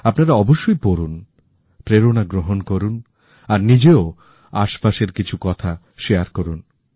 আপনারা অবশ্যই পড়ুন প্রেরণা গ্রহণ করুন আর নিজেও আশেপাশের কিছু কথা ভাগ করুন